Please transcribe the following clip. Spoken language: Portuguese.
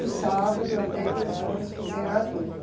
sábado até duas horas fizeram adubo.